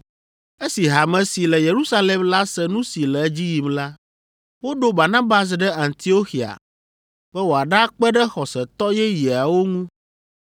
Esi Hame si le Yerusalem la se nu si le edzi yim la, woɖo Barnabas ɖe Antioxia be woaɖakpe ɖe xɔsetɔ yeyeawo ŋu.